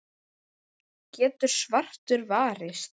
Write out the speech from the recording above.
getur svartur varist.